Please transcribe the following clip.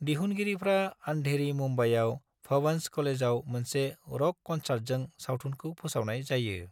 दिहुनगिरिफ्रा अंधेरी, मुंबईआव भवंस कलेजआव मोनसे र'क क'न्सार्टजों सावथुनखौ फोसावनाय जायो।